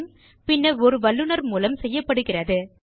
team பின்னர் ஒரு வல்லுநர் மூலம் செய்யப்படுகிறது